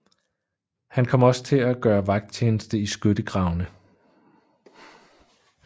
Han kom også til at gøre vagttjeneste i skyttegravene